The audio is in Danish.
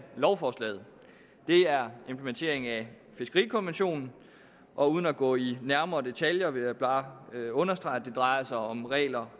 lovforslaget er implementering af fiskerikonventionen og uden at gå i nærmere detaljer vil jeg bare understrege at det drejer sig om regler